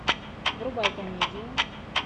врубай комедию